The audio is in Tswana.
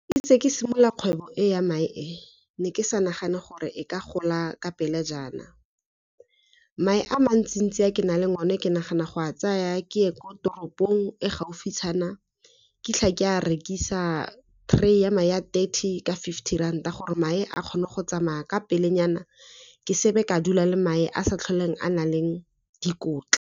Itse ke simolola kgwebo e ya mae e ne ke sa nagana gore e ka gola ka pele jaana. Mae a mantsi ntsi a ke nang le one ke nagana go a tsaya ke ye ko toropong e gaufitshana ke fitlha ke a rekisa. Tray ya mae a thirty ka fifty ranta gore mae a kgone go tsamaya ka pele nyana, ke sebe ka dula le mae a sa tlholeng a nang le dikotla.